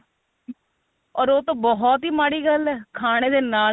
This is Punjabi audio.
or ਉਹ ਤਾਂ ਬਹੁਤ ਹੀ ਮਾੜੀ ਗੱਲ ਏ ਖਾਣੇ ਦੇ ਨਾਲ